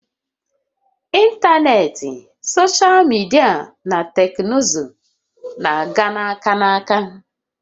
Ịntanetị, soshal midia na teknụzụ na-aga aka na aka